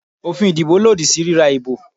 Òfin ìdìbò lòdì sí ríra ìbò